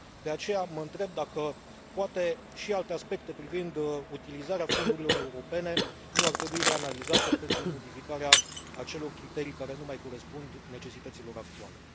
De aceea mă întreb dacă, poate, și alte aspecte privind utilizarea fondurilor europene nu ar trebui reanalizate pentru modificarea acelor criterii care nu mai corespund necesităților actuale.